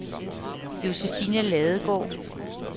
Josephine Ladegaard